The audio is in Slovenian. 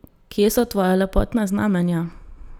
Kje so tvoja lepotna znamenja?